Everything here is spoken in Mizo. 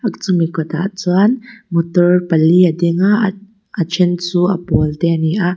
chumi kawtah chuan motor pali a dinga a a then chu a pawl te a ni a.